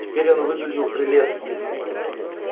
теперь он выглядел прелестно